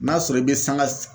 N'a sɔrɔ i bɛ sanga